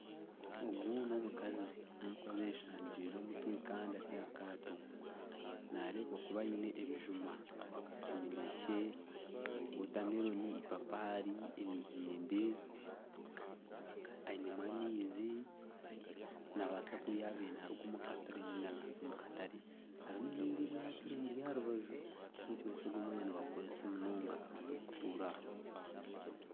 Ogu ni omukazi. Ni omukazi ayeshangiire omutwe kandi ari aha kaato. Naarebeka kuba aine ebijuma, eminekye, wotameroni, ipapari, emiyembe. Ainemu amaizi nabaasa kuba yabiire naruga omu katare ninga naaza omu katare. Hariho erindi eryaato erimui aha rubaju. Nikimanyisa ogu omwanya nibagukoresa munonga abantu abarikutuura aha.